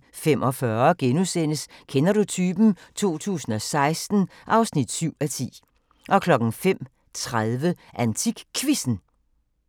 04:45: Kender du typen? 2016 (7:10)* 05:30: AntikQuizzen